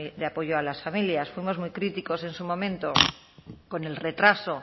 de apoyo a las familias fuimos muy críticos en su momento con el retraso